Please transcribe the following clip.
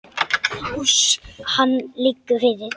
Hann liggur fyrir.